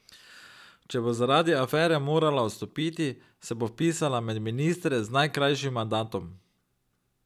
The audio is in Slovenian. Če bo zaradi afere morala odstopiti, se bo vpisala med ministre z najkrajšim mandatom.